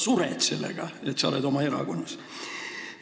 Sa sured sellega, et sa oled oma erakonnas!